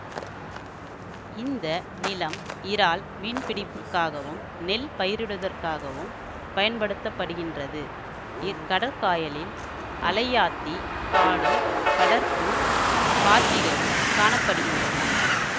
இந்த நிலம் இறால் மீன்பிடிப்புக்காகவும் நெல் பயிரிடுவதற்காகவும் பயன்படுத்த படுகின்றது இக்கடற்காயலில் அலையாத்திக் காடும் கடற்புல் பாத்திகளும் காண படுகின்றன